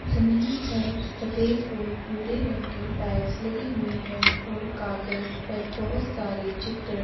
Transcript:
जमीन पर सफेद ओर भूरे रंग की टाइल्स लगीं हुई है ओर कागज पर बहुत सारे चित्र --